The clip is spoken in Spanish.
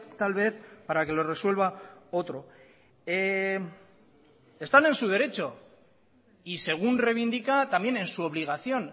tal vez para que lo resuelva otro están en su derecho y según reivindica también en su obligación